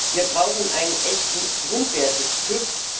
Wir brauchen einen echten Grundwerte TÜV.